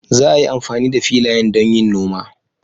Za a yi amfani da filayen don yin noma.